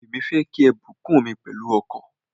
Èmi fẹ́ kí a bùkún mi pẹ̀lú ọkọ̀.